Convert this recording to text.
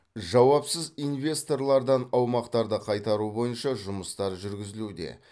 жауапсыз инвесторлардан аумақтарды қайтару бойынша жұмыстар жүргізілуде